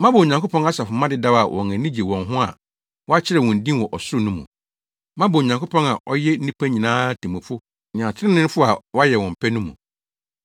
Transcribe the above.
Moaba Onyankopɔn asafomma dedaw a wɔn ani gye wɔn ho a wɔakyerɛw wɔn din wɔ ɔsoro no mu. Moaba Onyankopɔn a ɔyɛ nnipa nyinaa temmufo ne atreneefo a wɔayɛ wɔn pɛ no mu.